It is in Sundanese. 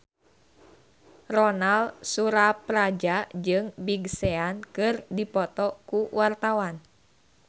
Ronal Surapradja jeung Big Sean keur dipoto ku wartawan